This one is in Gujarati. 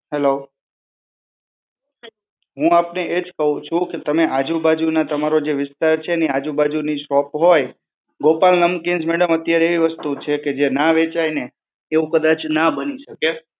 હલો. હું આપને એજ કહું છું. કે તમે આજુબાજુના તમારો જે વિસ્તાર છે, એની આજુબાજુની શોપ હોય, ગોપાલ નમકીન્સ mdam અત્યારે એવી વસ્તુ છે કે ના વહેંચાય ને એવું કદાચ ના બની શકે.